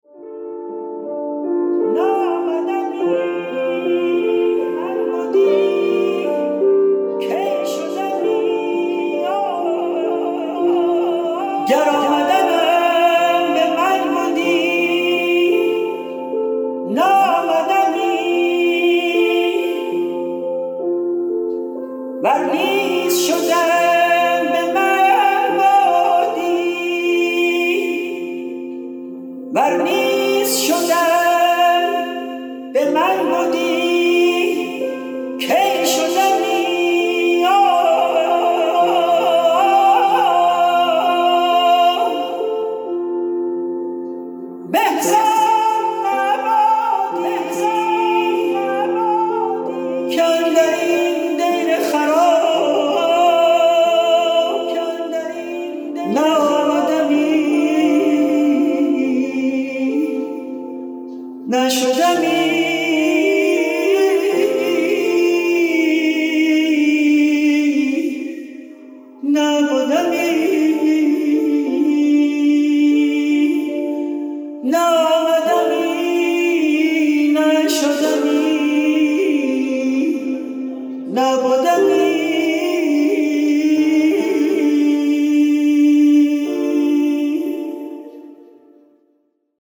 گر آمدنم به خود بدی نآمدمی ور نیز شدن به من بدی کی شدمی به زان نبدی که اندر این دیر خراب نه آمدمی نه شدمی نه بدمی